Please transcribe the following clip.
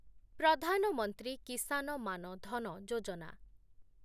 Pradhan Mantri Kisan Maan Dhan Yojana